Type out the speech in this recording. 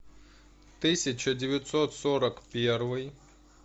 тысяча девятьсот сорок первый